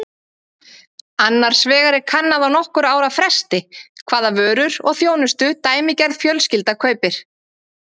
Annars vegar er kannað á nokkurra ára fresti hvaða vörur og þjónustu dæmigerð fjölskylda kaupir.